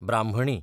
ब्राह्मणी